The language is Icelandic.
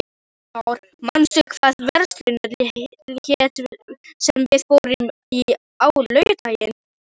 Nikanor, manstu hvað verslunin hét sem við fórum í á laugardaginn?